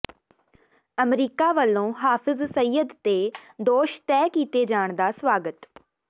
America ਵੱਲੋਂ ਹਾਫਿਜ਼ ਸਈਦ ਤੇ ਦੋਸ਼ ਤੈਅ ਕੀਤੇ ਜਾਣ ਦਾ ਸਵਾਗਤ